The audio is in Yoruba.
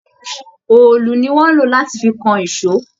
Òòlù ni wón ń lò láti fi kan ìṣọ́.